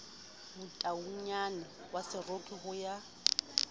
motaungyane wa seroki ho ya